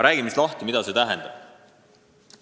" Räägime siis lahti, mida see tähendab.